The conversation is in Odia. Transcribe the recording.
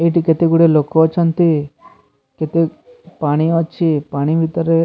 ଏଇଠି କେତେଗୁଡେ ଲୋକ ଅଛନ୍ତି କେତେ ପାଣି ଅଛି ପାଣି ଭିତରେ --